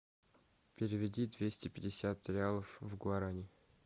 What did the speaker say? переведи двести пятьдесят реалов в гуарани